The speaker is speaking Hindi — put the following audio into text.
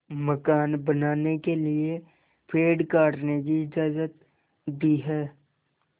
मकान बनाने के लिए पेड़ काटने की इजाज़त दी है